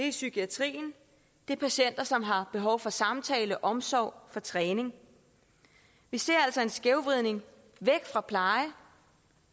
i psykiatrien og det er patienter som har behov for samtale for omsorg for træning vi ser altså en skævvridning væk fra pleje